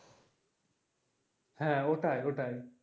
হ্যাঁ ওটাই ওটাই।